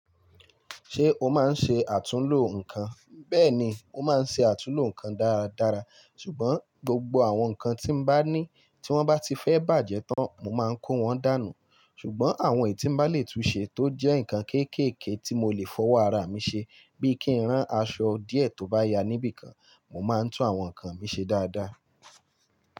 Ṣé o máa ń ṣe àtúnlo nǹkan? Bẹ́ẹ̀ni, mo máa ń ṣe àtúnlo nǹkan dáradára, ṣùgbọ́n gbogbo àwọn nǹkan tí m bá ní tí wọ́n bá ti fẹ́ bàjẹ́ tán, mo máa ń kó wọn dànù. Ṣùgbọ́n àwọn èyí tí m bá lè túnṣe tó jẹ́ nǹkan kéékèèké tí mo lè fọwọ́ ara mi ṣe bíi kí ń rán aṣọ díẹ̀ tó bá ya níbìkan, mo máa ń tún àwọn nǹkan mi ṣe dáadáa.